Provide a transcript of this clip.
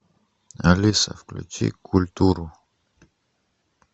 алиса включи культуру